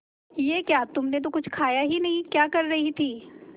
ये क्या तुमने तो कुछ खाया ही नहीं क्या कर रही थी